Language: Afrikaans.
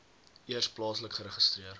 eers plaaslik geregistreer